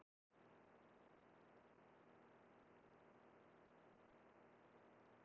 Hvernig er liðið byggt upp og hvernig er samstarfið við Fjölni?